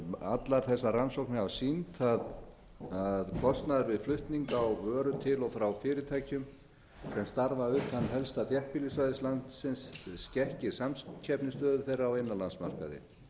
allar þessar rannsóknir hafa sýnt að að kostnaður við flutning á vöru til og frá fyrirtækjum sem starfa utan helsta þéttbýlissvæðis landsins skekkir samkeppnisstöðu þeirra á innanlandsmarkaði